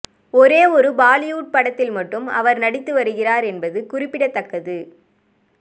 ஒரே ஒரு பாலிவுட் படத்தில் மட்டும் அவர் நடித்து வருகிறார் என்பது குறிப்பிடத்தக்கது